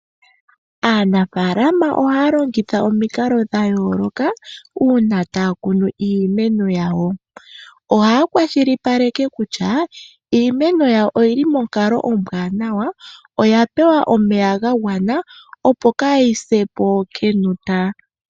Aanafaalama ohaya longitha omikalo dha yooloka uuna taya kunu iimeno yawo. Ohaya kwashilipaleke kutya iimeno yawo oyili monkalo ombwaanawa, oya pewa omeya ga gwana opo kaa yi sepo kenota.